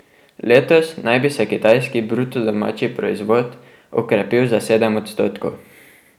Letos naj bi se kitajski bruto domači proizvod okrepil za sedem odstotkov.